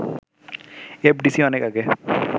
FDC অনেক আগে